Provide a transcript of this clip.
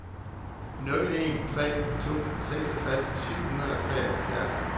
nul en tre to seksogtres syv hundrede og tooghalvfjerds